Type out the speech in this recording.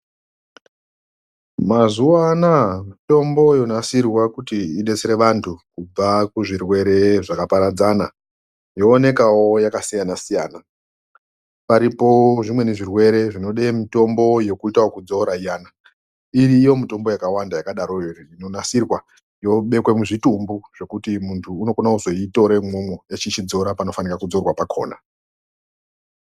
Mazuva anaya mitombo yonasirwa kuti ibetsere vantu kubva kuzvirwere zvakaparadzana yoonekavo yakasiyana-siyana. Paripo zvimweni zvirwere zvinoda mutombo yekuita yekudzora iyana iriyo mitombo yakavanda yakagaroyo inonasirwa yobekwe muzvitumbu kuti muntu anokone kuzoitore imwomwo, echichidzora panofanira kudzorwa pakona.